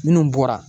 Minnu bɔra